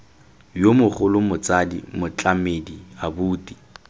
yo mogolo motsadi motlamedi abuti